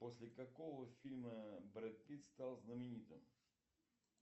после какого фильма брэд питт стал знаменитым